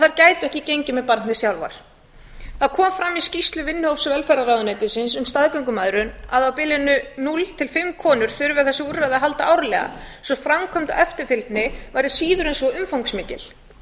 þær gætu ekki gengið með barnið sjálfar það kom fram í skýrslu vinnuhóps velferðarráðuneytisins um staðgöngumæðrun að á bilinu núll til fimm konur þurfi þessi úrræði að halda árlega svo framkvæmd og eftirfylgni væri síður en svo umfangsmikil